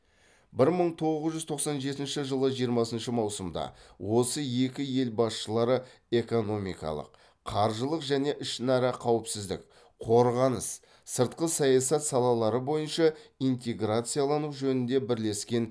бір мың тоғыз жүз тоқсан жетінші жылы жиырмасыншы маусымда осы екі ел басшылары экономикалық қаржылық және ішінара қауіпсіздік қорғаныс сыртқы саясат салалары бойынша интеграциялану жөнінде бірлескен